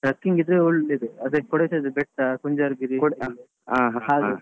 trekking ಇದ್ರೆ ಒಳ್ಳೇದು ಅದೆ Kodaikanal ಬೆಟ್ಟಾ Kodaikanal kunjarugiri .